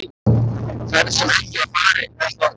Ferð sem ekki var farin- og þó!